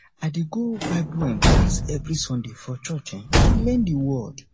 i dey go bible um class every sunday for church um to learn the word